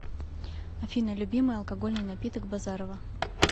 афина любимый алкогольный напиток базарова